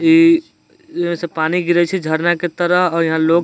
ई एमें से पानी गिरई छई झरना की तरह और यहाँ लोग --